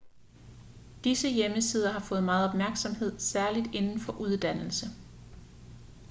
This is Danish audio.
disse hjemmesider har fået meget opmærksomhed særligt inden for uddannelse